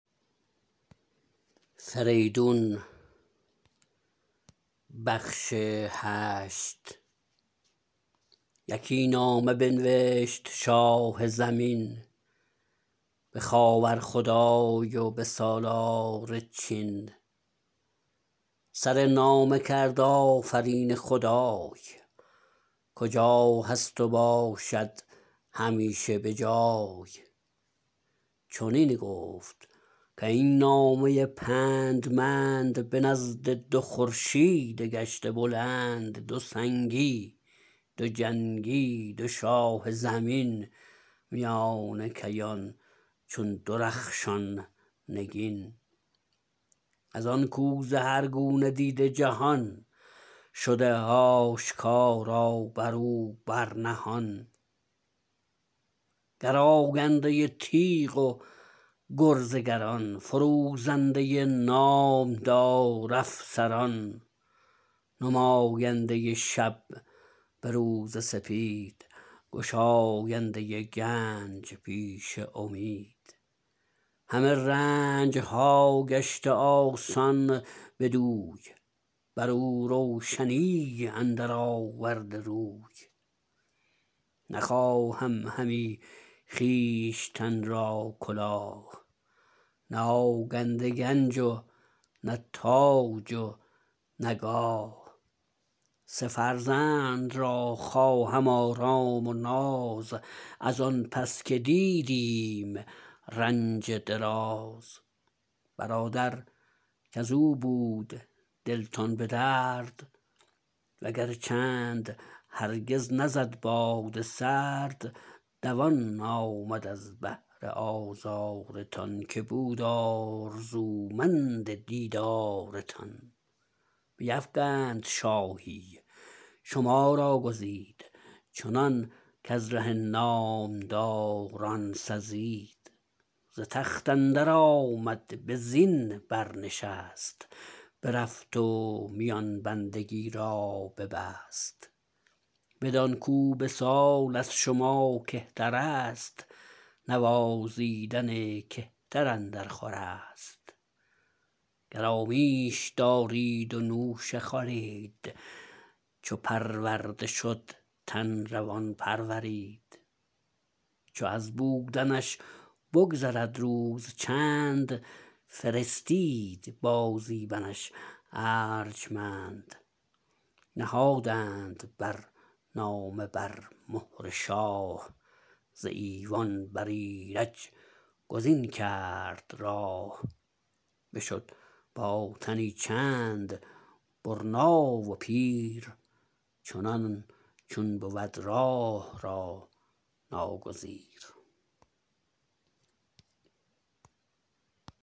یکی نامه بنوشت شاه زمین به خاور خدای و به سالار چین سر نامه کرد آفرین خدای کجا هست و باشد همیشه به جای چنین گفت کاین نامه پندمند به نزد دو خورشید گشته بلند دو سنگی دو جنگی دو شاه زمین میان کیان چون درخشان نگین از آنکو ز هر گونه دیده جهان شده آشکارا برو بر نهان گراینده تیغ و گرز گران فروزنده نامدار افسران نماینده شب به روز سپید گشاینده گنج پیش امید همه رنجها گشته آسان بدوی برو روشنی اندر آورده روی نخواهم همی خویشتن را کلاه نه آگنده گنج و نه تاج و نه گاه سه فرزند را خواهم آرام و ناز از آن پس که دیدیم رنج دراز برادر کزو بود دلتان به درد وگر چند هرگز نزد باد سرد دوان آمد از بهر آزارتان که بود آرزومند دیدارتان بیفگند شاهی شما را گزید چنان کز ره نامداران سزید ز تخت اندر آمد به زین برنشست برفت و میان بندگی را ببست بدان کو به سال از شما کهترست نوازیدن کهتر اندر خورست گرامیش دارید و نوشه خورید چو پرورده شد تن روان پرورید چو از بودنش بگذرد روز چند فرستید با زی منش ارجمند نهادند بر نامه بر مهر شاه ز ایوان بر ایرج گزین کرد راه بشد با تنی چند برنا و پیر چنان چون بود راه را ناگزیر